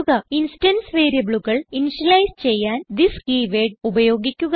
instance വേരിയബിളുകൾ initialise ചെയ്യാൻ this keyword ഉപയോഗിക്കുക